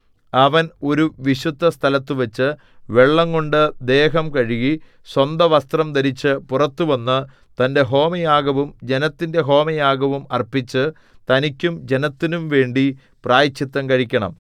അവൻ ഒരു വിശുദ്ധസ്ഥലത്തുവച്ചു വെള്ളംകൊണ്ട് ദേഹം കഴുകി സ്വന്തവസ്ത്രം ധരിച്ചു പുറത്തുവന്ന് തന്റെ ഹോമയാഗവും ജനത്തിന്റെ ഹോമയാഗവും അർപ്പിച്ചു തനിക്കും ജനത്തിനുംവേണ്ടി പ്രായശ്ചിത്തം കഴിക്കണം